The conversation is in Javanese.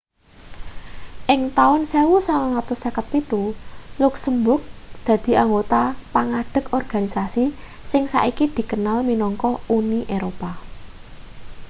ing taun 1957 luksemburg dadi anggota pangadeg organisasi sing saiki dikenal minangka uni eropa